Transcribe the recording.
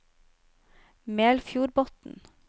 Melfjordbotn